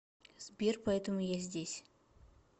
сбер поэтому я здесь